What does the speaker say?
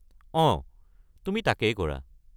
অঁ, তুমি তাকেই কৰা।